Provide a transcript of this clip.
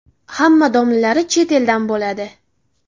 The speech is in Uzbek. Hamma domlalari chet eldan bo‘ladi.